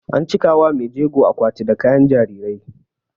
An cika wa maijego akwati da kayan jarirai